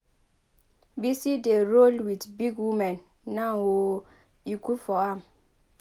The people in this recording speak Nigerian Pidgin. Bisi dey roll with big women now oo e good for am.